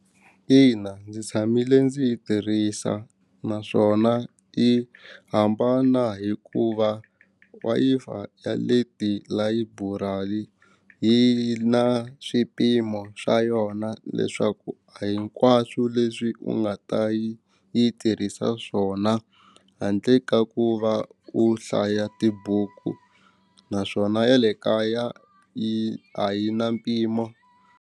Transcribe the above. Ina ndzi tshamile ndzi yi tirhisa naswona yi hambana hikuva Wi-Fi ya le tilayiburali yi na swipimo swa yona leswaku a hinkwaswo leswi u nga ta yi yi tirhisa swona handle ka ku va u hlaya tibuku naswona ya le kaya yi a yi na mpimo.